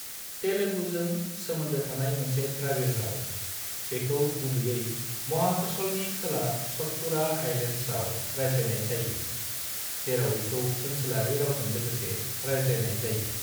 तेलुगुजों सोमोन्दो थानाय मोनसे द्रबिड़ राव, बेखौ गुबैयै महाकशलनि खोला सतपुड़ा हाइलेड्सआव रायज्लायनाय जायो, जेराव बेखौ ओनसोलारि रावजों लोगोसे रायज्लायनाय जायो।